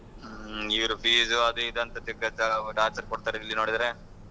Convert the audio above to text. ಹ್ಮ್ ಇವ್ರ್ fees ಅದು ಇದು ಅಂತ ತಿರ್ಗಾ ಜ~ torture ಕೊಡ್ತಾರ ಇಲ್ಲಿ ನೋಡಿದ್ರೆ.